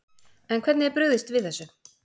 En hvernig er brugðist við þessu?